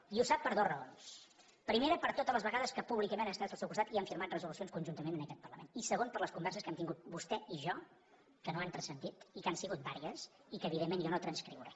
i ho sap per dues raons primera per totes les vegades que públicament hem estat al seu costat i hem firmat resolucions conjuntament en aquest parlament i segona per les converses que hem tingut vostè i jo que no han transcendit i que han sigut diverses i que evidentment jo no transcriuré